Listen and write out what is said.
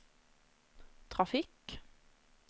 trafikk